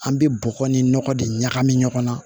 An bɛ bɔgɔ ni nɔgɔ de ɲagami ɲɔgɔn na